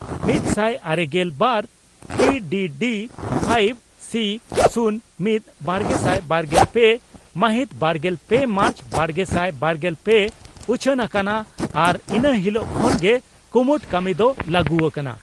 ᱢᱤᱛᱥᱟᱭ ᱟᱨᱮᱜᱮᱞ ᱵᱟᱨ ᱼᱴᱤ ᱰᱤ ᱰᱤ ,ᱯᱷᱟᱭᱤᱵ ᱥᱤ ᱼᱥᱩᱱ ᱢᱤᱛ ᱵᱟᱨᱜᱮᱥᱟᱭ ᱵᱟᱨᱜᱮᱞ ᱯᱮ ᱢᱟᱦᱤᱛ ᱵᱟᱨᱜᱮᱞ ᱯᱮ ᱢᱟᱨᱪ ,ᱵᱟᱨᱜᱮᱥᱟᱭ ᱵᱟᱨᱜᱮᱞ ᱯᱮ ᱩᱪᱷᱟᱹᱱ ᱟᱠᱟᱱᱟ ᱟᱨ ᱤᱱᱟᱹ ᱦᱤᱞᱚᱜ ᱠᱷᱚᱱ ᱜᱮ ᱠᱩᱢᱩᱴ ᱠᱟᱹᱢᱤ ᱫᱚ ᱞᱟᱹᱜᱩ ᱟᱠᱟᱱᱟ ᱾